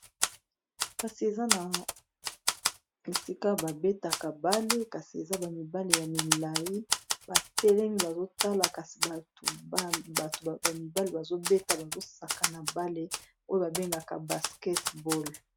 kasi eza na esika babetaka ndembo yamaboko kasi eza bamibale ya milai batelemi bazotala kasi bato bamibale bazobeta bazosakana ndembo yamaboko oyo babengaka basketball